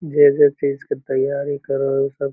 जे जे चीज़ के तैयारी करा हई सब --